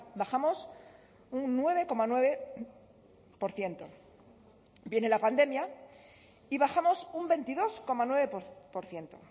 bajamos un nueve coma nueve por ciento viene la pandemia y bajamos un veintidós coma nueve por ciento